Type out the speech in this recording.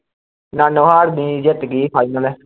ਨਾਨੋਹਾਰ ਦੀ ਜਿੱਤ ਗਈ ਸੀ final